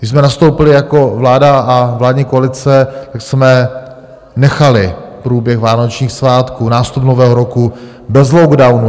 Když jsme nastoupili jako vláda a vládní koalice, tak jsme nechali průběh vánočních svátků, nástup nového roku bez lockdownu.